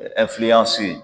Ɛ ɛnfiliyansi